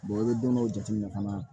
i bɛ don dɔw jateminɛ fana